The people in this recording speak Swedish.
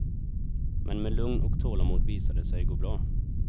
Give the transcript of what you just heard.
Men med lugn och tålamod visar det sig gå bra.